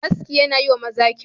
Aski yana yi wa maza kyau.